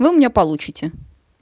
вы у меня получите